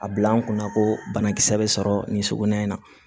A bila n kunna ko banakisɛ bɛ sɔrɔ nin so in na